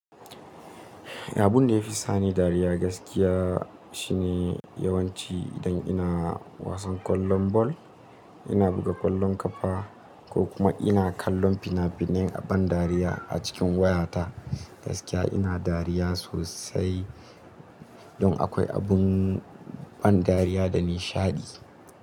Abun da ya fi sani dariya gaskiya, shine yawanci idan ina wasan kwallon ball, ina buga kwallon kafa ko kuma ina kallon fina-finai a ban dariya a cikin wayata. Gaskiya ina dariya sosai don akwai abun ban dariya da nishaɗi.